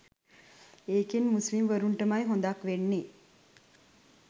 ඒකෙන් මුස්ලිම්වරුන්ටමයි හොඳක් වෙන්නේ